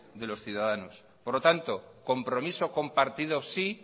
de los ciudadanos por lo tanto compromiso compartido sí